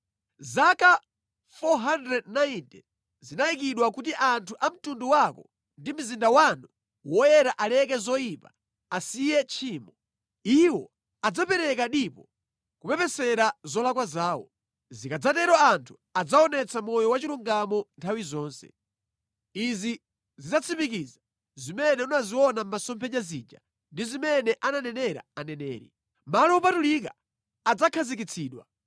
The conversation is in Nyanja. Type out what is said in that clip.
“Zaka 490 zinayikidwa kuti anthu a mtundu wako ndi mzinda wanu woyera aleke zoyipa, asiye tchimo. Iwo adzapereka dipo kupepesera zolakwa zawo. Zikadzatero anthu adzaonetsa moyo wachilungamo nthawi zonse. Izi zidzatsimikiza zimene unaziona mʼmasomphenya zija ndi zimene ananenera aneneri. Malo opatulika adzakhazikitsidwa.